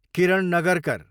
Kiran Nagarkar